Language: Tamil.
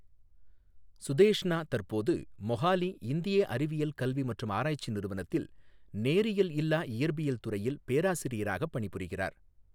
சுதேஷ்னா தற்போது மொஹாலி இந்திய அறிவியல் கல்வி மற்றும் ஆராய்ச்சி நிறுவனத்தில் நேரியல் இல்லா இயற்பியல் துறையில் பேராசிரியராக பணிபுரிகிறார்.